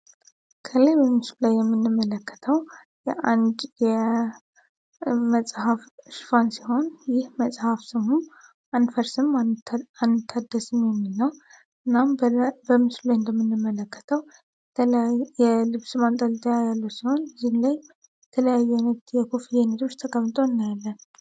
ከላይ በሚስ ላይ የምንመለከተው መጽሐፍ እሽፋን ሲሆን ይህ መጽሐፍ ስሙ አንድፈርስም አንድታደስም የሚልናው እናም በምስ ለ እንደምንመለከተው የልብስማንጠል 2ያለች ሲሆን ዚን ላይ ተለያዩነት የኮፍሊነቶች ተቀምጦ እናያለ